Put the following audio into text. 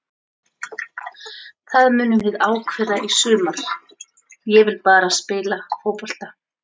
Það munum við ákveða í sumar, ég vil bara spila fótbolta.